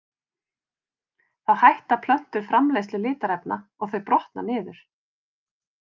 Þá hætta plöntur framleiðslu litarefna og þau brotna niður.